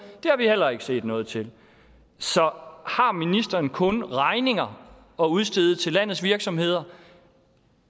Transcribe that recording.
det har vi heller ikke set noget til så har ministeren kun regninger at udstede til landets virksomheder